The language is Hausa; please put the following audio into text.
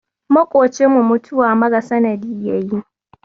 Maƙocinmu mutuwa mara sanadi ya yi